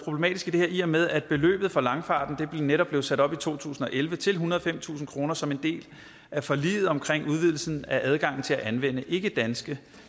her i og med at beløbet for langfarten netop blev sat op i to tusind og elleve til ethundrede og femtusind kroner som en del af forliget omkring udvidelsen af adgangen til at anvende ikkedanske